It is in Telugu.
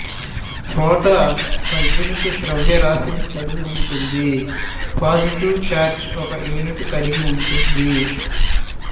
ప్రోటాన్ ఒక యూనిట్ ద్రవ్యరాశిని కలిగి ఉంటుంది పాజిటివ్ చార్జ్ ఒక యూనిట్ కలిగి ఉంటుంది